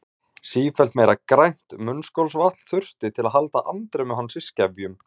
Sífellt meira grænt munnskolvatn þurfti til að halda andremmu hans í skefjum.